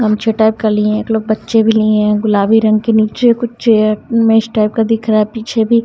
हम छ टाइप का लिए है एक लोग बच्चे भी लिए है गुलाबी रंग के नीचे कुछ चेयर में इस टाइप का दिख रहा है पीछे भी --